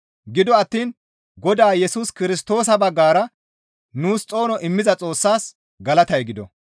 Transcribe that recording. Gido attiin Godaa Yesus Kirstoosa baggara nuus xoono immiza Xoossas galatay gido.